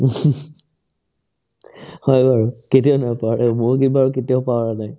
হয় বাৰু কেতিয়াও নাপাহৰে বহুত কেইবাৰ কেতিয়াও পাহৰা নাই